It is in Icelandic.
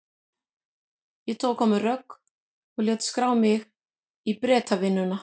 Ég tók á mig rögg og lét skrá mig í Bretavinnuna.